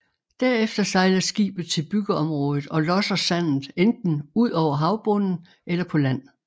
Derefter sejler skibet til byggeområdet og losser sandet enten ud over havbunden eller på land